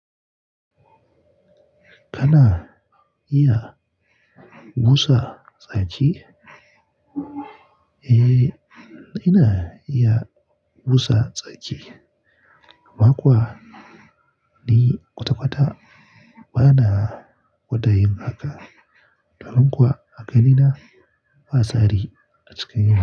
Kana iya busa tsaki? Eh, ina iya busa tsaki. Amma kuwa ni kwata kwata bana gwada yin haka. Domin kuwa haka ina fasa rini na cika yi.